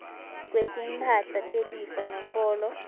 kwetimphahla telifa nombolo